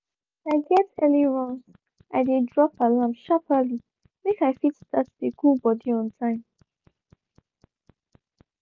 if i get early runs i dey drop alarm sharperly make i fit start dey cool body on time